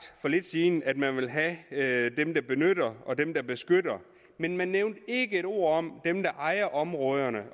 for lidt siden at man vil have have dem der benytter og dem der beskytter men man nævnte ikke et ord om dem der ejer områderne